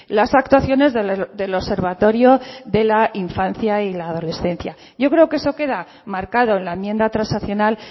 las actuaciones del observatorio de la infancia y la adolescencia yo creo que eso queda marcado en la enmienda transaccional